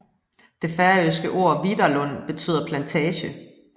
Det færøske ord viðarlund betyder plantage